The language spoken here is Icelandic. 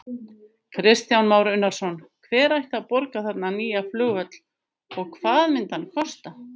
Kristján Már Unnarsson: Hver ætti að borga þarna nýja flugvöll og hvað myndi hann kosta?